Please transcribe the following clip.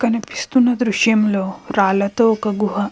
కనిపిస్తున్న దృశ్యం లో రాళ్ళతో ఒక గుహ --